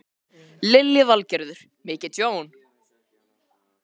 Lillý Valgerður: Mikið tjón?